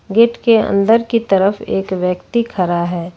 Gate के अंदर की तरफ एक व्यक्ति खड़ा है।